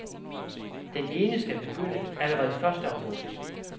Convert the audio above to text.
Den ene skal begynde allerede første august.